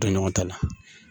Dan ɲɔgɔn ta la